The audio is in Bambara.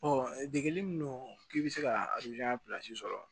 degeli min don k'i bɛ se ka sɔrɔ